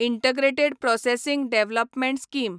integrated processing development scheme